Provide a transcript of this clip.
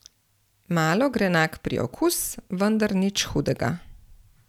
Malo grenak priokus, vendar nič hudega.